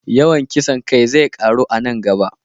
Yawan kisan kai zai ƙaru a nan gaba.